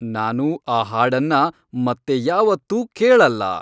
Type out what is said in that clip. ನಾನು ಆ ಹಾಡನ್ನ ಮತ್ತೆ ಯಾವತ್ತೂ ಕೇಳಲ್ಲ